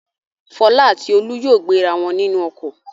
Fọlá àti Olú yóò gbéra wọn nínú ọkọ̀.